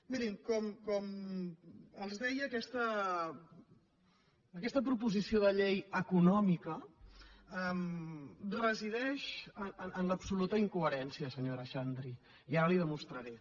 mirin com els deia aquesta proposició de llei econòmica resideix en l’absoluta incoherència senyora xan·dri i ara li ho demostraré